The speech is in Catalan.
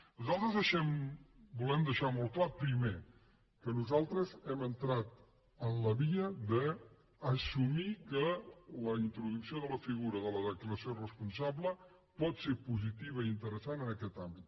nosaltres volem deixar molt clar pri·mer que nosaltres hem entrat en la via d’assumir que la introducció de la figura de la declaració responsable pot ser positiva i interessant en aquest àmbit